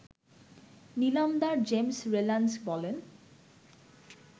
নিলামদার James Rylands বলেন